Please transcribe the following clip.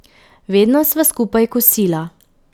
Vedno sva skupaj kosila.